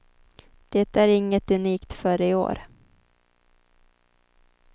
Det är inget unikt för i år.